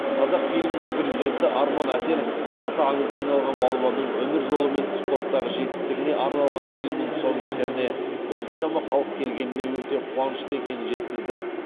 қазақфильмнің президенті арман әсенов аты аңызға айналған балуанның өмір жолы мен спорттағы жетістігіне арналған фильмнің тұсаукесеріне осыншама халық келгеніне өте қуанышты екенін жеткізді